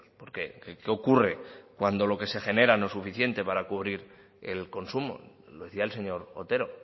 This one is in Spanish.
por qué qué ocurre cuando lo que se genera no es suficiente para cubrir el consumo lo decía el señor otero